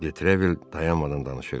De Trevil dayanmadan danışırdı.